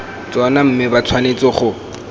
tsona mme ba tshwanetse go